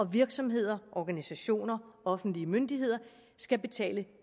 virksomheder organisationer og offentlige myndigheder skal betale